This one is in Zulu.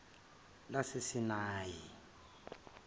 lasesinayi